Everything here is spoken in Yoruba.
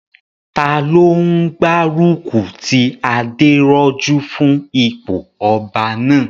Taló n gbárùkù ti Adérójú fún ipò ọba náà?